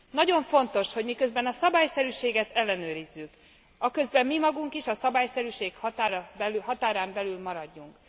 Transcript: Nagyon fontos, hogy miközben a szabályszerűséget ellenőrizzük, aközben mi magunk is a szabályszerűség határán belül maradjunk.